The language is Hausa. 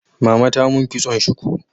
Mama ta mun kitson shuku